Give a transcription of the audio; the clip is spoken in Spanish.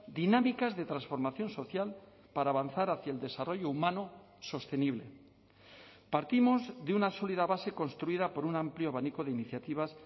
dinámicas de transformación social para avanzar hacia el desarrollo humano sostenible partimos de una sólida base construida por un amplio abanico de iniciativas